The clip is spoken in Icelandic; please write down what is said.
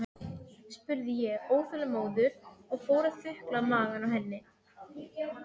spurði ég óþolinmóður og fór að þukla magann á henni.